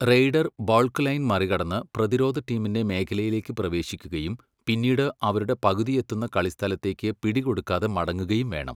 Raider baulk line മറികടന്ന് പ്രതിരോധ ടീമിൻ്റെ മേഖലയിലേക്ക് പ്രവേശിക്കുകയും പിന്നീട് അവരുടെ പകുതിയെത്തുന്ന കളിസ്ഥലത്തേക്ക് പിടികൊടുക്കാതെ മടങ്ങുകയും വേണം.